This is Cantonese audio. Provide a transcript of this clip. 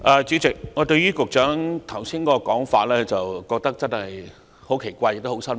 主席，我對於局長剛才的說法感到十分奇怪及失望。